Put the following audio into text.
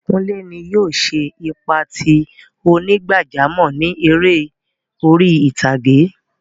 Kùnlẹ́ ní yóò ṣè ipa tí onígbàjàmọ̀ ni èrè orí ìtàgẹ̀.